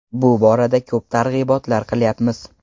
Bu borada ko‘p targ‘ibotlar qilyapmiz.